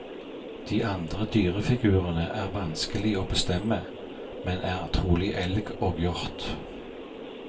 De andre dyrefigurene er vanskelig å bestemme, men er trolig elg og hjort.